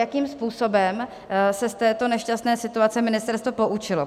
Jakým způsobem se z této nešťastné situace ministerstvo poučilo?